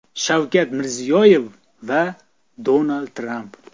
Shavkat Mirziyoyev va Donald Tramp.